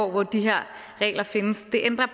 hvor de her regler findes det ændrer